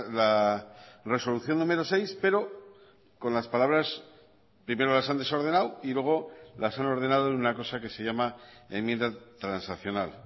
la resolución número seis pero con las palabras primero las han desordenado y luego las han ordenado en una cosa que se llama enmienda transaccional